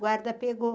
Guarda pegou.